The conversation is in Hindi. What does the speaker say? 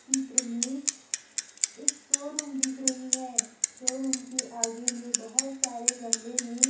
चित्र में एक शोरूम दिख रही हैं शोरूम के आगे में बोहोत सारे गमले में--